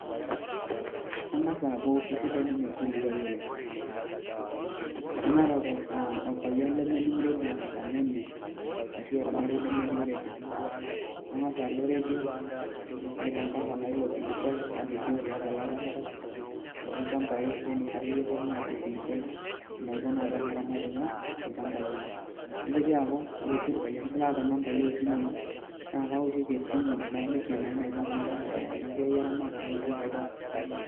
Keng'as aaku esidai ninye orkiliuai oleng' nemeeta prpayian lemening' redio tenkang' enye ashu ormarei lemening' redio kang'as alo redio naitangasa naa ilo kilikuai nalikioo tiatua ilaramatak tolchambai nening' akeyie pooki ng'ae ilo kilikuai enaiko naa teneramat inyoo ilchambai lenye nitoki aaku ore sii irpayiani laata nambai oosimuui naa kaoshoki esimu naliki naa enaiko naa ena siai eramatare olchambai.